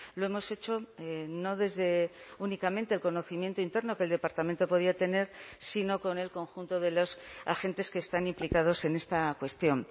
lo hemos hecho no desde únicamente el conocimiento interno que el departamento podía tener sino con el conjunto de los agentes que están implicados en esta cuestión